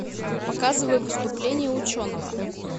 показывай выступление ученого